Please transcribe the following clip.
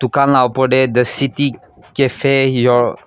dukan laga opor te the city cafe your --